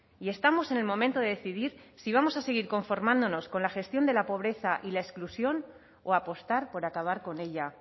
y estamos en el momento de decidir si vamos a seguir conformándonos con la gestión de la pobreza y la exclusión o apostar por acabar con ella